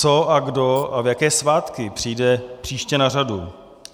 Co a kdo a v jaké svátky přijde příště na řadu?